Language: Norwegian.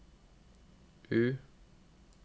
U